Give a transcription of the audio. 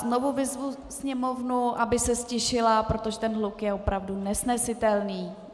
Znovu vyzvu sněmovnu, aby se ztišila, protože ten hluk je opravdu nesnesitelný.